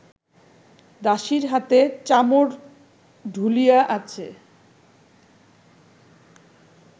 দাসীর হাতে চামর ঢুলিয়া আছে